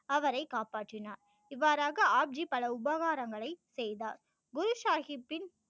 அவரை காப்பற்றினார் இவ்வாறாக ஆப் ஜி பல உபகாரங்களை செய்தார் குரு சாகிப்பின்